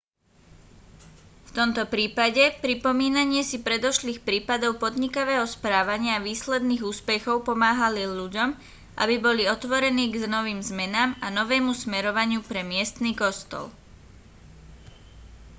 v tomto prípade pripomínanie si predošlých prípadov podnikavého správania a výsledných úspechov pomáhali ľuďom aby boli otvorení k novým zmenám a novému smerovaniu pre miestny kostol